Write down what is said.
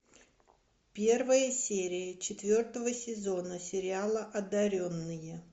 первая серия четвертого сезона сериала одаренные